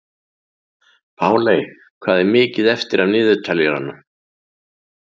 Páley, hvað er mikið eftir af niðurteljaranum?